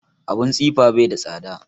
Abun tsifa bai da tsada